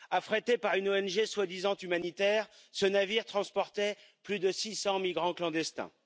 Affrété par une ONG soi disant humanitaire, ce navire transportait plus de 600 migrants clandestins.